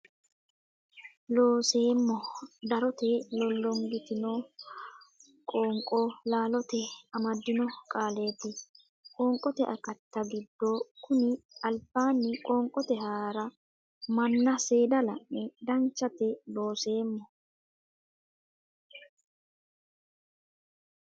Looseemmo darote lollongitino qoonqo laalote amaddino qaallaati qoonqote akatta giddo konni albaanni qoonqote hara manna seeda la ne Danchate Looseemmo.